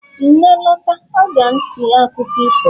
nne lota, o ga nti akuko ifo m